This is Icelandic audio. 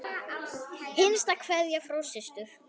Hinsta kveðja frá systur.